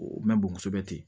O mɛn bon kosɛbɛ ten